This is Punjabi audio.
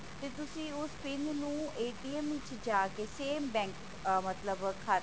ਤੇ ਤੁਸੀ ਉਸ pin ਨੂੰ ਵਿੱਚ ਜਾਕੇ same bank ah ਮਤਲਬ